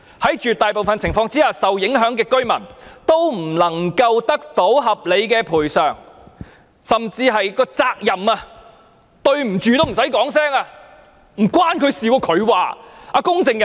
在絕大部分情況下，受影響的居民也不能夠得到合理的賠償，甚至在責任上，一句"對不起"也不用說。